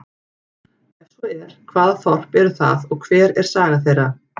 Er svo er, hvaða þorp eru það og hver er saga þeirra?